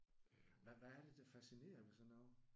Hvad hvad er det der fascinerer ved sådan noget?